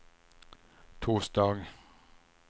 torsdag